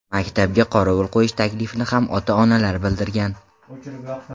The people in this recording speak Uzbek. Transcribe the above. Maktabga qorovul qo‘yish taklifini ham ota-onalar bildirgan.